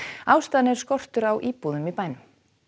ástæðan er skortur á íbúðum í bænum